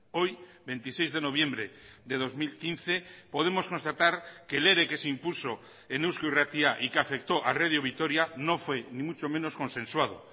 hoy veintiséis de noviembre de dos mil quince podemos constatar que el ere que se impuso en eusko irratia y que afectó a radio vitoria no fue ni mucho menos consensuado